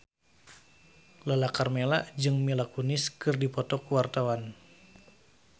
Lala Karmela jeung Mila Kunis keur dipoto ku wartawan